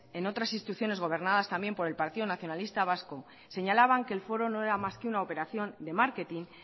en otras instituciones gobernadas también por el partido nacionalista vasco señalaban que el foro no era más que una operación de marketing